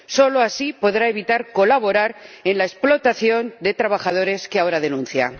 Solo así podrá evitar colaborar en la explotación de trabajadores que ahora denuncia.